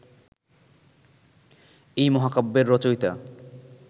এই মহাকাব্যের রচয়িতা